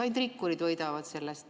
Ainult rikkurid võidavad sellest.